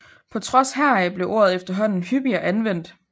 På trods heraf blev ordet efterhånden hyppigere anvendt